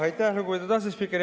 Aitäh, lugupeetud asespiiker!